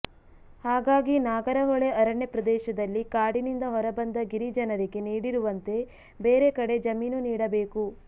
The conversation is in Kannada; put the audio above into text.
ಹಾಗಾಗಿ ನಾಗರಹೊಳೆ ಅರಣ್ಯ ಪ್ರದೇಶದಲ್ಲಿ ಕಾಡಿನಿಂದ ಹೊರಬಂದ ಗಿರಿಜನರಿಗೆ ನೀಡಿರುವಂತೆ ಬೇರೆ ಕಡೆ ಜಮೀನು ನೀಡಬೇಕು